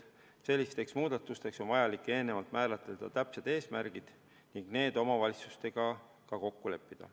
Sellisteks muudatusteks on vaja eelnevalt määratleda täpsed eesmärgid ning need omavalitsustega ka kokku leppida.